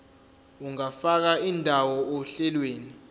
ungafaka indawo ohlelweni